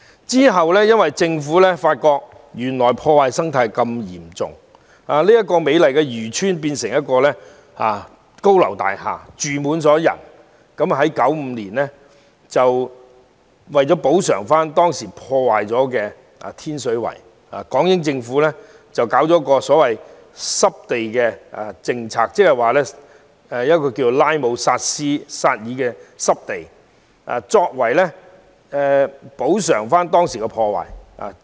其後，港英政府發現生態遭到嚴重破壞，美麗漁村變成高樓大廈，人口密集，於是便在1995年作出補償，在當時已遭破壞的天水圍搞了一項所謂濕地政策，設立拉姆薩爾濕地，以彌補所造成的破壞。